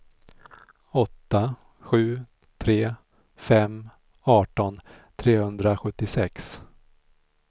åtta sju tre fem arton trehundrasjuttiosex